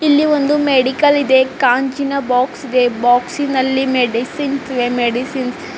ಇಲ್ಲಿ ಒಂದು ಮೆಡಿಕಲ್ ಇದೇ ಕಾಂಜಿನ ಬಾಕ್ಸ್ ಇದೆ ಬಾಕ್ಸಿ ನಲ್ಲಿ ಮೆಡಿಸಿನ್ಸ್ ಇವೆ ಮೆಡಿಸಿನ್ಸ್ --